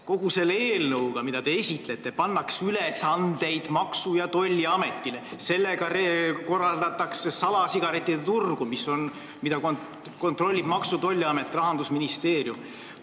Kogu selle eelnõuga pannakse lisaülesandeid Maksu- ja Tolliametile, sellega pärsitakse salasigarettide turgu, mida kontrollib Maksu- ja Tolliamet ehk laiemalt Rahandusministeerium.